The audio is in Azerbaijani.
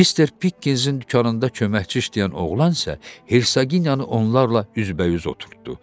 Mister Pikinzin dükanında köməkçi işləyən oğlan isə Hersaqiniyanı onlarla üz-bə-üz oturtdu.